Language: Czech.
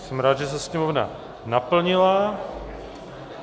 Jsem rád, že se sněmovna naplnila.